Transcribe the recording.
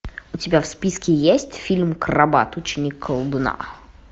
у тебя в списке есть фильм крабат ученик колдуна